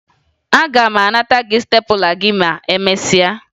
Aga m anata gị stepụla gị ma emesịa